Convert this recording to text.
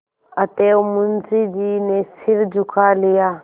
अतएव मुंशी जी ने सिर झुका लिया